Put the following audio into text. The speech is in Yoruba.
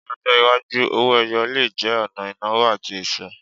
Ní ọjọ́ iwájú, owó-ẹyọ le jẹ́ ọ̀nà ìnáwó àti ẹ̀ṣọ́.